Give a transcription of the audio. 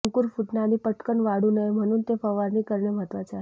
ते अंकुर फुटणे आणि पटकन वाढू नये म्हणून ते फवारणी करणे महत्वाचे आहे